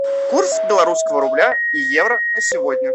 курс белорусского рубля и евро на сегодня